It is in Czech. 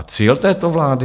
A cíl této vlády?